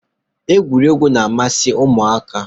Egwuregwu na- amasị ụmụaka